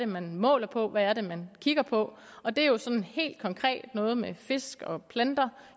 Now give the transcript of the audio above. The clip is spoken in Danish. man måler på hvad det er man kigger på og det er jo sådan helt konkret noget med fisk og planter